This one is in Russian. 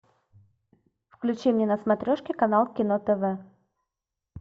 включи мне на смотрешке канал кино тв